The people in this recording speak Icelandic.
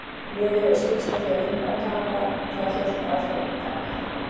Liðið hefur skipst á því að vinna og tapa og það hélt áfram í dag.